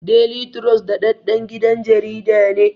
Deli turos daɗaɗɗen gidan jarida ne